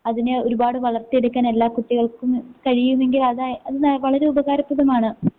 അതിനെ ഒരുപാട് വളർത്തിയെടുക്കാനെല്ലാ കുട്ടികൾക്കും കഴിയുമെങ്കിലതാ അതിനാ വളരെ ഉപകാരപ്രദമാണ്.